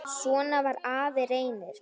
Svona var afi Reynir.